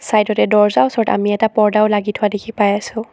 Side তে দৰ্জাৰ ওচৰত আমি এটা পৰ্দাও লাগি থোৱা দেখি পাই আছো।